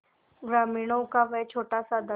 ग्रामीणों का वह छोटासा दल